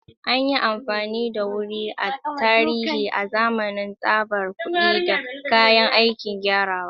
An yi amfani da wuri a tarihi azaman tsabar kuɗi da kayan aikin kirgawa.